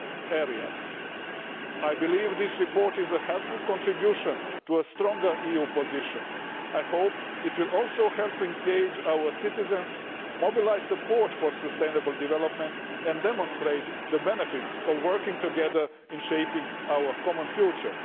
areas. I believe this report is a helpful contribution to a stronger EU position, and I hope it will also help engage our citizens, mobilise support for sustainable development and demonstrate the benefits of working together in shaping our common future.